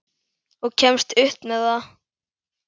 Og kemst upp með það!